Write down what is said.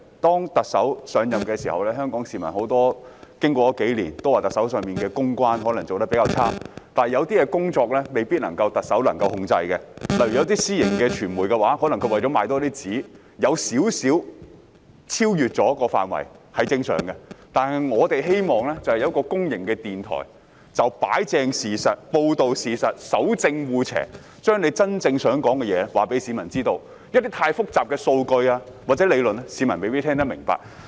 特首上任後，經過了數年，香港市民都說特首的公關工作可能做得比較差，但有些事情未必是特首可以控制的，例如有些私營傳媒為了增加銷量，在內容上會稍稍超越了範圍，這也是正常的，但我們希望會有一間公營電台可以擺正事實、報道事實、守正惡邪，把政府真正想說的話告訴市民，因為太複雜的數據和理論，市民未必能聽得明白。